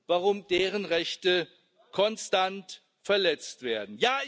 warum deren Rechte konstant verletzt werden.